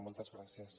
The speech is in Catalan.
moltes gràcies